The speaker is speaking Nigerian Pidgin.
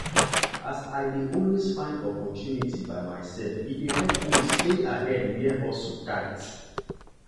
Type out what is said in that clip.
as i dey always find opportunity by myself e dey help me stay ahead where hustle tight.